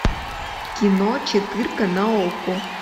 кино четырка на окко